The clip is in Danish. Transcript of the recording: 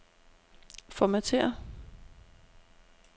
Formatér.